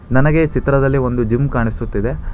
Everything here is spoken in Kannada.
ನನಗೆ ಈ ಚಿತ್ರದಲ್ಲಿ ಒಂದು ಜಿಮ್ ಕಾಣಿಸುತ್ತಿದೆ.